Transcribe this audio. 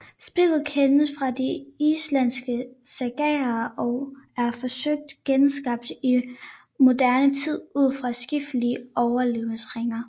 Spillet kendes fra de islandske sagaer og er forsøgt genskabt i moderne tid ud fra skriftlige overleveringer